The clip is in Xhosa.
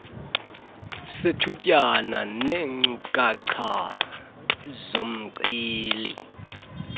sethutyana sineenkcukacha zomceli